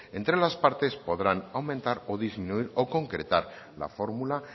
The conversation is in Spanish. entre las partes podrán aumentar o disminuir o concretar la fórmula